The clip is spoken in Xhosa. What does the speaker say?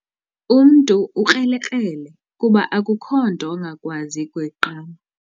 Umntu ukrelekrele kuba akukho nto angakwazi kuyiqamba.